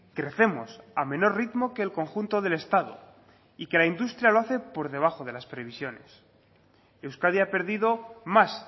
crecemos a menor ritmo que el conjunto del estado y que la industria lo hace por debajo de las previsiones euskadi ha perdido más